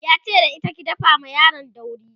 yace da ita "ki dafa ma yaron dauri!"